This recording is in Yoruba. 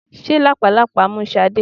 Ṣé làpálàpá mú Sade?